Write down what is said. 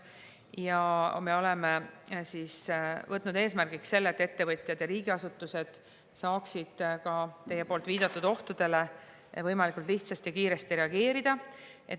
Ja me oleme võtnud eesmärgiks selle, et ettevõtjad ja riigiasutused saaksid ka teie viidatud ohtudele võimalikult lihtsasti ja kiiresti reageerida.